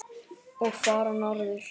Og fara norður.